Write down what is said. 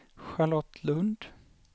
Charlotte Lund